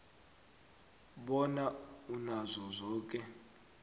bona unazo zoke